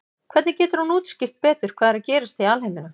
hvernig getur hún útskýrt betur hvað er að gerast í alheiminum